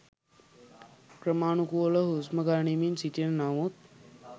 ක්‍රමානුකූලව හුස්ම ගනිමින් සිටින නමුත්